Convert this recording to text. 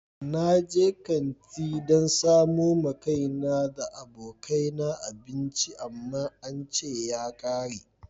Na je kanti dan samo ma kaina da abokai na abinci amma an ce ya kare.